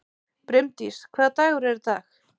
Brimdís, hvaða dagur er í dag?